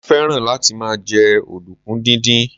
mo fẹràn láti ma je ọdunkun didin